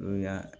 N'o y'a